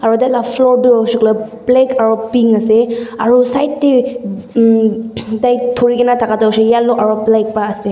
hotel lah floor tu hoise koiley black aru pink ase aru side teh umm tai thori ke na thaka tu hoise yellow aru black para ase.